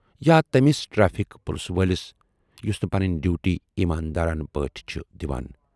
یا تمِٔس ٹریفک پُلسہٕ وٲلِس یُس نہٕ پنٕنۍ ڈیوٗٹی ایماندارانہٕ پٲٹھۍ چھِ دِوان۔